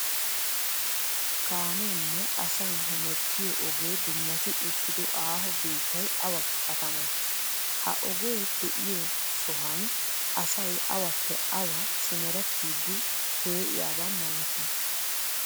Kaameenne asayi hemettiyoo ogee dummati uttido aaho biittayi awa katamee? Ha ogee diyoo sohan asayi awappe awa simerettiiddi pee''iyabaa malatii?